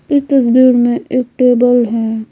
इस तस्वीर में एक टेबल है।